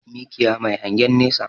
Mikiya Mai hangen nesa